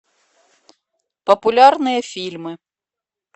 популярные фильмы